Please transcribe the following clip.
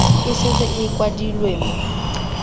e setse e kwadilwe mo